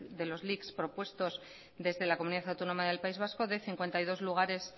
de los lics propuestos desde la comunidad autónoma del país vasco de cincuenta y dos lugares